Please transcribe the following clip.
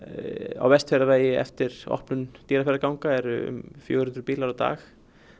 á Vestfjarðavegi eftir opnun Dýrafjarðarganga eru fjögur hundruð bílar á dag